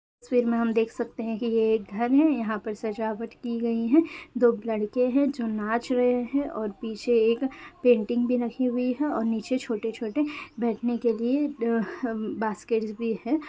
इस तस्वीर में हम देख सकते है की ये एक घर है यहाँ पे सजावट की गयी है दो लड़के नाच रहा है और पीछे एक पेंटिंग भी लगी हुई है और नीचे छोटे छोटे बेठने के लिए कुछ बास्केट्स भी है।